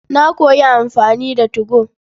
Na koyi amfani da 2go.